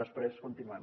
després continuem